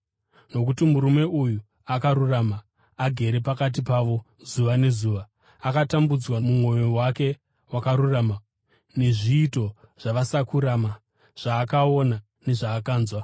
(nokuti murume uyu akarurama, agere pakati pavo zuva nezuva, akatambudzwa mumwoyo wake wakarurama nezviito zvavasakurama zvaakaona nezvaakanzwa),